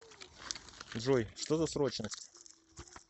джой что за срочность